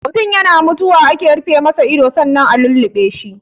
Mutun yana mutuwa ake rufe masa ido sannan a lulluɓe shi.